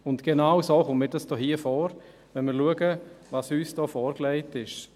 Genauso kommt es mir hier vor, wenn wir schauen, was uns hier vorgelegt wird.